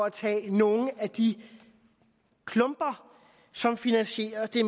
at tage nogle af de klumper som finansierer de